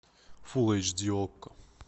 фул эйч ди окко